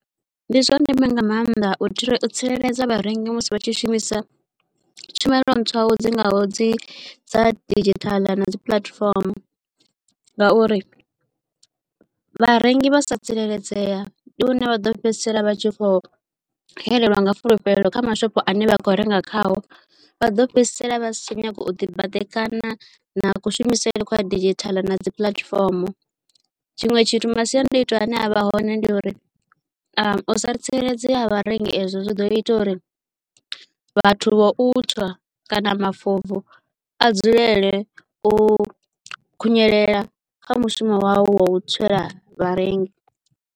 Ndi zwa ndeme nga maanḓa u tsireledza vharengisi musi vha tshi shumisa tshumelo ntswa dzi ngaho dzi dza didzhithala na dzi puḽatifomo ngauri vharengi vha sa tsireledzea ndi hune vha ḓo fhedzisela vha tshi kho xelelwa nga fulufhelo kha mashopho ane vha kho renga khao vha ḓo fhedzisela vha si tsha nyaga u ḓi badekanyana na kushumisele kwa didzhithala na dzi puḽatifomo tshiṅwe tshithu masiandaitwa ane avha hone ndi uri u sa tsireledzea vharengi ezwo zwi ḓo ita uri vhathu vha u tswa kana mafobvu a dzulele u khunyelela kha mushumo wao wa u tswela vharengi.